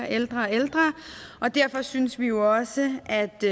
ældre og ældre og derfor synes vi jo også at det